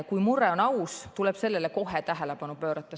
Kui mure on aus, tuleb sellele kohe tähelepanu pöörata.